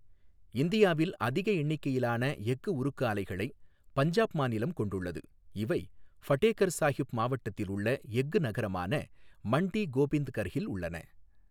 இந்தியாவில் அதிக எண்ணிக்கையிலான எஃகு உருக்கு ஆலைகளை பஞ்சாப் மாநிலம் கொண்டுள்ளது இவை ஃபடேகர்ஹ் சாஹிப் மாவட்டத்தில் உள்ள எஃகு நகரமான மண்டி கோபிந்த்கர்ஹில் உள்ளன.